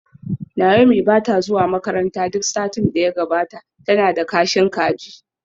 Naomi ba ta zuwa makaranta duk satin da ya gabata, tana da kashin kaji